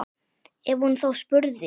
Ef hún þá spurði.